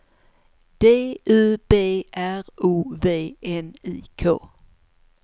D U B R O V N I K